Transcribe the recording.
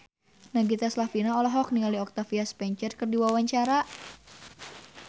Nagita Slavina olohok ningali Octavia Spencer keur diwawancara